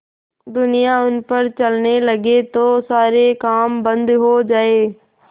दुनिया उन पर चलने लगे तो सारे काम बन्द हो जाएँ